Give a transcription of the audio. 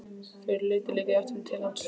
Þau litu líka í áttina til hans.